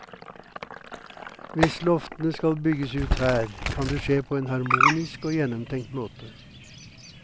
Hvis loftene skal bygges ut her, kan det skje på en harmonisk og gjennomtenkt måte.